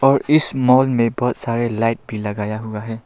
और इस मॉल में बहोत सारे लाइट भी लगाया हुआ है।